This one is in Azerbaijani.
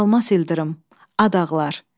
Almas İldırım, Ad ağlar.